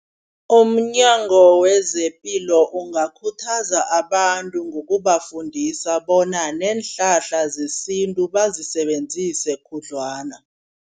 Umnyango wezepilo ungakhuthaza abantu ngokubafundisa bona neenhlahla zesintu bazisebenzise khudlwana.